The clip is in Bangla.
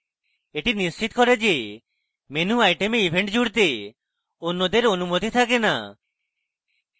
এটি নিশ্চিত করে যে menu item event জুড়তে অন্যদের অনুমতি থাকে না